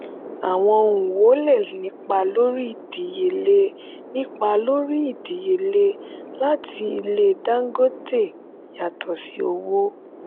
àwọn ohun wo lè nípa lórí ìdíyelé nípa lórí ìdíyelé láti ilé dangote yàtò sí owó?